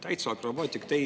Täitsa akrobaatik!